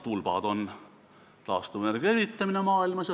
See diagrammi tulp näitab taastuvenergia evitamist maailmas.